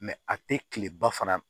a tɛ kileba fana